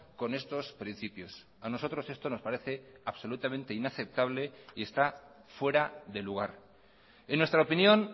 con estos principios a nosotros esto nos parece absolutamente inaceptable y está fuera de lugar en nuestra opinión